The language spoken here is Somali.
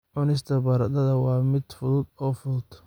Cunista baradhada waa mid fudud oo fudud.